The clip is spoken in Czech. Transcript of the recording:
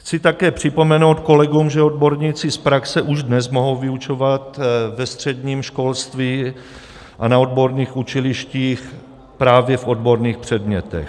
Chci také připomenout kolegům, že odborníci z praxe už dnes mohou vyučovat ve středním školství a na odborných učilištích právě v odborných předmětech.